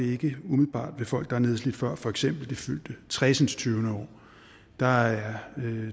ikke umiddelbart folk der er nedslidte før for eksempel det fyldte tresindstyvende år der er